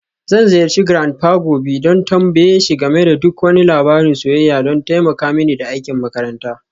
Zan ziyarci grandpa gobe don tambaye shi game da duk wani labarin soyayya don taimaka mini da aikin makaranta.